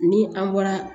Ni an bɔra